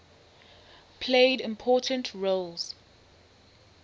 played important roles